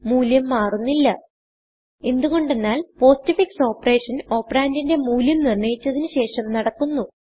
മൂല്യം മാറുന്നില്ല എന്ത് കൊണ്ടെന്നാൽ പോസ്റ്റ്ഫിക്സ് ഓപ്പറേഷൻ ഓപ്പറണ്ട് ന്റിന്റെ മൂല്യം നിർണയിച്ചതിന് ശേഷം നടക്കുന്നു